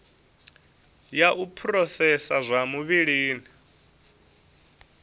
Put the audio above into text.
ya u phurosesa zwa vhulimi